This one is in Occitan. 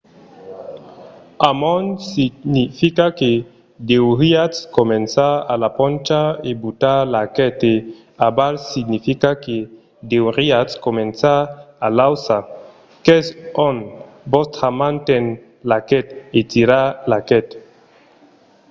amont significa que deuriatz començar a la poncha e butar l'arquet e aval significa que deuriatz començar a l'auça qu'es ont vòstra man ten l'arquet e tirar l'arquet